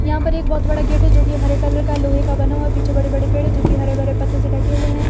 यहां पर एक बहोत बड़ा गेट है जो की हरे कलर का लोहे का बना हुआ है पीछे बड़े बड़े पेड़ है जो की हरे भरे पत्तों से ढके हुए हैं।